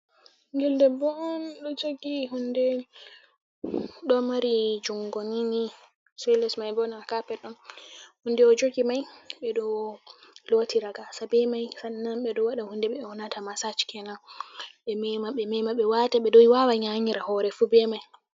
Bingel ɗoɗɗo on do jogi hunɗe. Ɗo mari jungo nini sai les mai bo na kapet on. hunɗo o jogi mai be ɗo lotira gasa be mai. Be ɗo waɗa hunɗe be yaunata masaj kenan, be mema be mema. Be ɗo wawa watira be doi wawa nyanyira hore fu be mai.